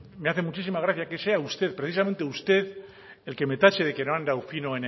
me hace muchísima gracia que sea usted precisamente usted el que me tache de que no he andado fino